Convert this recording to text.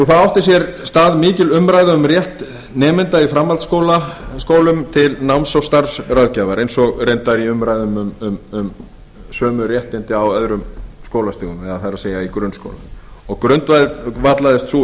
það átti sér stað mikil umræða um rétt nemenda í framhaldsskólum til náms og starfsráðgjafar eins og reyndar í umræðum um sömu réttindi á öðrum skólastigum það er í grunnskólum og grundvallaðist sú